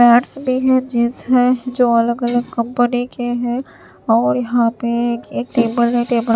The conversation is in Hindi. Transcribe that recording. एडस भी है जींस है जो अलग-अलग कंपनी के हैं और यहां पे एक टेबल है टेबल --